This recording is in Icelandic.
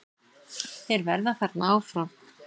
Þeir verða þarna áfram.